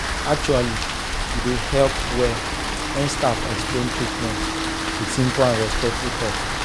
actually e dey help well when staff explain treatment with simple and respectful talk.